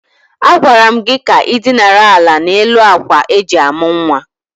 A gwara gị ka ị dinara ala n'elu akwa eji amụ̀ nwa!